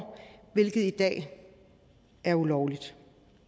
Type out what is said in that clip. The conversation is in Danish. hvilket i dag er ulovligt